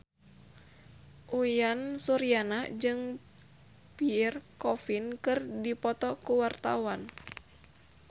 Uyan Suryana jeung Pierre Coffin keur dipoto ku wartawan